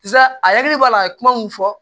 Sa a hakili b'a la a ye kuma mun fɔ